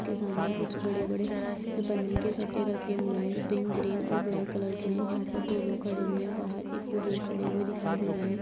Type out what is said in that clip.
के सामने कुछ बड़े-बड़े पन्नी के कटे रखे हुए है जो पिंक ग्रीन और ब्लैक कलर के है यहां पर दो लोग खड़े हुए है बाहर एक बुजुर्ग खड़े हुए दिखाई दे रहे है।